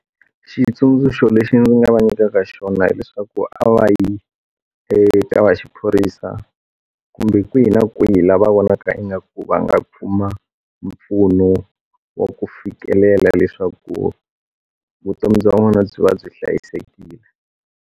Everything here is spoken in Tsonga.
Xitsundzuxo lexi ndzi nga va nyikaka xona hileswaku a va yi eka va xiphorisa kumbe kwihi na kwihi lava vonaka ingaku va nga kuma mpfuno wa ku fikelela leswaku vutomi bya wena byi va byi hlayisekile.